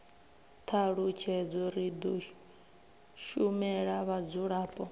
thalutshedzo ri do shumela vhadzulapo